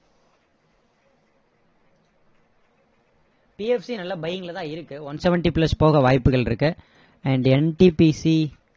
PFC நல்ல buying ல தான் இருக்கு one seventy plus போக வாய்ப்புகள் இருக்கு and NTPC